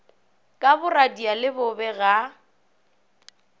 ka boradia le bobe ga